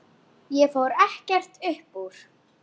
Ég fór ekkert upp úr.